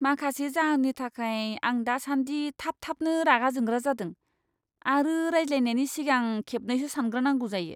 माखासे जाहोननि थाखाय, आं दासान्दि थाब थाबनो रागा जोंग्रा जादों आरो रायज्लायनायनि सिगां खेबनैसो सानग्रोनांगौ जायो।